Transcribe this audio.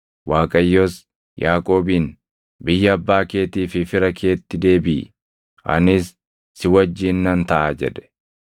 Waaqayyos Yaaqoobiin, “Biyya abbaa keetii fi fira keetti deebiʼi; anis si wajjin nan taʼa” jedhe.